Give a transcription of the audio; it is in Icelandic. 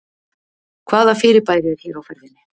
hvaða fyrirbæri er hér á ferðinni